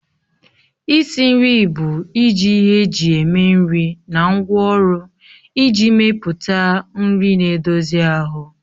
Isi nri bụ iji ihe eji eme nri na ngwaọrụ iji mepụta nri na-edozi ahụ